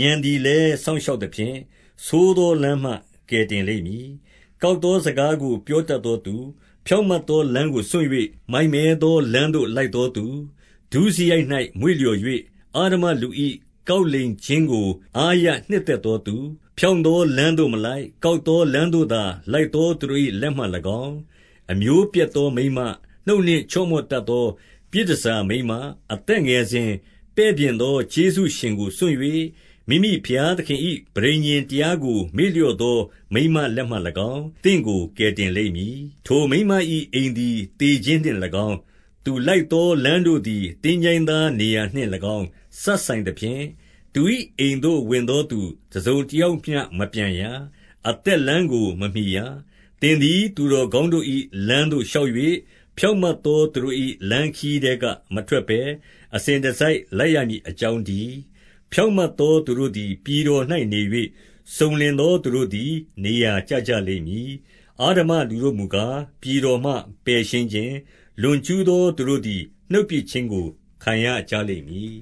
၊ ဥာဏ်သည်လည်း စောင့်ရှောက်သဖြင့်၊ 12 ဆိုးသောလမ်းမှ ကယ်တင်လိမ့်မည်။ ကောက် သောစကားကို ပြောတတ်သောသူ၊ 13 ဖြောင့်မတ်သောလမ်းကိုစွန့်၍၊ မိုက်မဲသော လမ်းသို့လိုက်သောသူ၊ 14 ဒုစရိုက်၌မွေ့လျော်၍ အဓမ္မလူ၏ ကောက်လိမ် ခြင်းကို အားရနှစ်သက်သောသူ၊ 15 ဖြောင့်သောလမ်းသို့မလိုက်၊ ကောက်သော လမ်းသို့သာ လိုက်သောသူတို့၏လက်မှ၎င်း၊ 16 အမျိုးပျက်သောမိန်းမ၊ နှုတ်နှင့်ချော့မော့တတ် သော ပြည်တန်ဆာမိန်းမ၊ 17 အသက်ငယ်စဉ်ပဲ့ပြင်သော ကျေးဇူးရှင်ကိုစွန့်၍၊ မိမိဘုရားသခင်၏ ပဋိညာဉ်တရားကို မေ့လျော့သော မိန်းမလက်မှ၎င်း၊ သင့်ကို ကယ်တင်လိမ့်မည်။ 18 ထိုမိန်းမ၏အိမ်သည် သေခြင်းနှင့်၎င်း၊ သူလိုက်သော လမ်းတို့သည် သင်္ချိုင်းသားနေရာနှင့်၎င်း စပ်ဆိုင် သဖြင့်၊ 19 သူ၏အိမ်သို့ဝင်သောသူ တစုံတယောက်မျှ မပြန်ရ။ အသက်လမ်းကို မမှီရ။ 20 သင်သည် သူတော်ကောင်းတို့၏ လမ်းသို့ရှောက်၍၊ ဖြောင့်မတ်သော သူတို့၏ လမ်းခရီးထဲက မထွက်ဘဲ အစဉ်တစိုက်လိုက်ရမည်အကြောင်းတည်း။ 21 ဖြောင့်မတ်သောသူတို့သည်ပြည်တော်၌နေ၍၊ စုံလင်သော သူတို့သည် နေရာကျကြလိမ့်မည်။ 22 အဓမ္မလူတို့မူကား၊ ပြည်တော်မှပယ်ရှင်းခြင်း၊ လွန်ကျူးသော သူတို့သည် နှုတ်ပစ်ခြင်းကို ခံရကြလိမ့် မည်